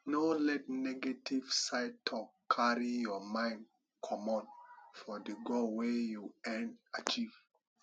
no let negetive side talk carry your mind comot for di goal wey you ean achive